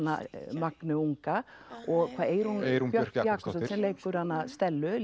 Magneu unga og Eyrún Eyrún Björk Jakobsdóttir sem leikur Stellu